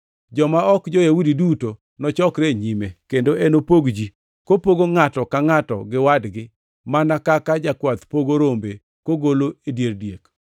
Joma ok jo-Yahudi duto nochokre e nyime, kendo enopog ji, kopogo ngʼato ka ngʼato gi wadgi, mana kaka jakwath pogo rombe kogolo e dier diek.